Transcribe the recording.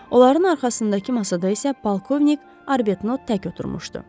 Onların arxasındakı masada isə polkovnik Arbetnot tək oturmuşdu.